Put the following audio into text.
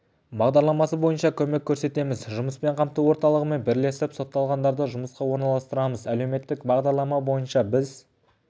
бағдарламасы бойынша көмек көрсетеміз жұмыспен қамту орталығымен бірлесіп сотталғандарды жұмысқа орналастырамыз әлеуметтік бағдарлама бойынша біз